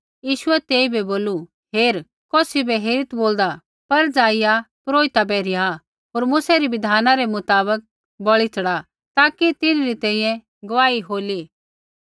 यीशुऐ तेइबै बोलू हेरा कौसी बै हेरीत् बोलदा पर ज़ाइआ पुरोहिता बै रिहा होर मूसै री बिधाना रै मुताबक बलि च़ढ़ा ताकि तिन्हरी तैंईंयैं गुआही होली